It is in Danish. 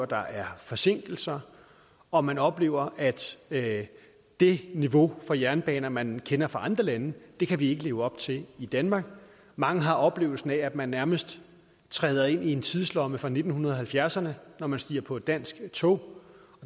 der er forsinkelser og man oplever at det niveau for jernbaner man kender fra andre lande kan vi ikke leve op til i danmark mange har oplevelsen af at man nærmest træder ind i en tidslomme fra nitten halvfjerdserne når man stiger på et dansk tog